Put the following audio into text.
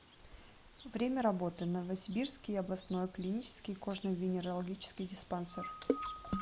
время работы новосибирский областной клинический кожно венерологический диспансер